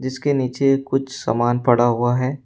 इसके नीचे कुछ सामान पड़ा हुआ है।